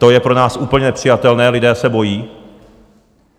To je pro nás úplně nepřijatelné, lidé se bojí.